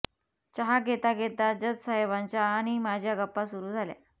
चहा घेता घेता जज साहेबांच्या आणी माझ्या गप्पा सुरू झाल्या